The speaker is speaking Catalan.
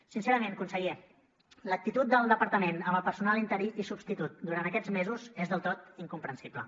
sincerament conseller l’actitud del departament amb el personal interí i substitut durant aquests mesos és del tot incomprensible